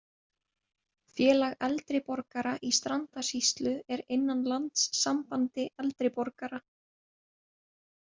Félag eldri borgara í Strandasýslu er innan Landssambandi eldri borgara